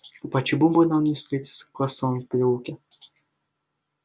почему бы нам не встретиться в косом переулке